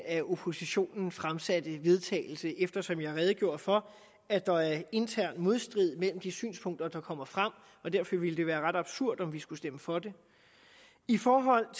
af oppositionen fremsatte forslag til vedtagelse eftersom jeg redegjorde for at der er intern modstrid mellem de synspunkter der kommer frem og derfor ville det være ret absurd om vi skulle stemme for det i forhold